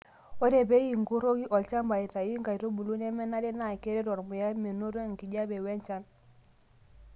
ore pee inkuroki olchamba aitayu inkaitubulu nemenare NAA keret ormuya menoto enkijape we nchan